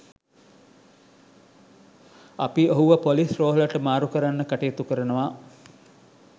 අපි ඔහුව ‍පොලිස් රෝහලට මාරු කරන්න කටයුතු කරනවා.